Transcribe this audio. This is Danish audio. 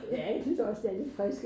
Ja jeg synes også det er lidt frikt